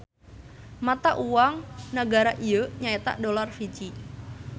Mata uang nagara ieu nya eta Dolar Fiji.